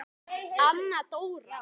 Anna Dóra.